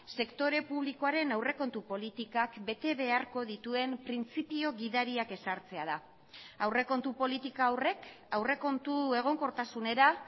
sektore publikoaren aurrekontu politikak bete beharko dituen printzipio gidariak ezartzea da aurrekontu politika horrek aurrekontu egonkortasunera